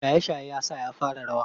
Shaye-shaye ya sa ya fara rawa.